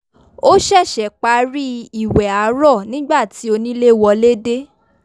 ó ṣẹ̀ṣẹ̀ parí ìwẹ̀ àárọ̀ nígbà tí onílé wọlé dé